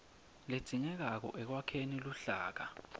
ledzingekako ekwakheni luhlaka